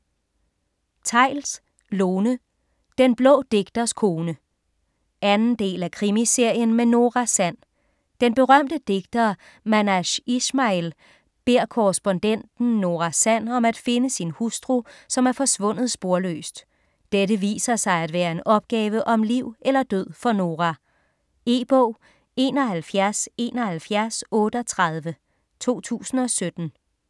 Theils, Lone: Den blå digters kone 2. del af Krimiserien med Nora Sand. Den berømte digter Manash Ishmail beder korrespondenten Nora Sand om at finde sin hustru som er forsvundet sporløst. Dette viser sig at være en opgave om liv eller død for Nora. E-bog 717138 2017.